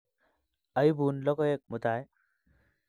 Aibun logoek mutai.